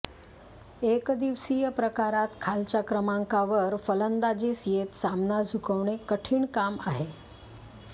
एकदिवसीय प्रकारात खालच्या क्रमांकावर फलंदाजीस येत सामना झुकवणे कठीण काम आहे